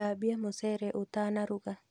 Thambia mũcere utanaruga